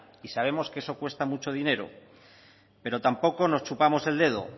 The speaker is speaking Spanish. y sabemos que eso cuesta mucho dinero pero tampoco nos chupamos el dedo